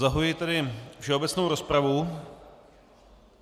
Zahajuji tedy všeobecnou rozpravu.